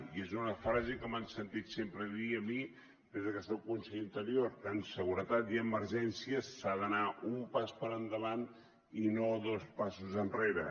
i és una frase que m’han sentit sempre dir a mi des de que soc conseller d’interior en seguretat i emergències s’ha d’anar un pas per endavant i no dos passos enrere